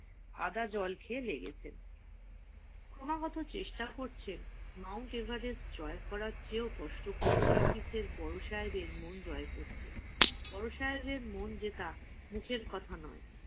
আদা জল খেয়ে লেগেছে ক্রমাগত চেষ্টা করছে Mount Everest জয় করার চেয়েও কষ্টকর বড় সাহেবের মন জয় করে করতে। বড় সাহেবের মন যেটা মুখের কথা নয়